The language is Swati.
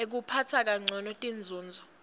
ekuphatsa kancono tinzunzo